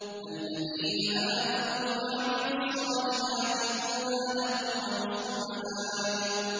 الَّذِينَ آمَنُوا وَعَمِلُوا الصَّالِحَاتِ طُوبَىٰ لَهُمْ وَحُسْنُ مَآبٍ